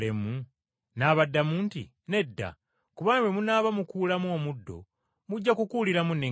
“N’abaddamu nti, ‘Nedda, kubanga bwe munaaba mukuulamu omuddo mujja kukuuliramu n’eŋŋaano.